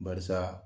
Barisa